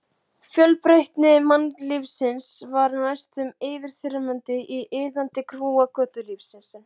Þegar þetta vatn blandast saman fellur út svart magnesíum-silíkat.